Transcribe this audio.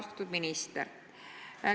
Austatud minister!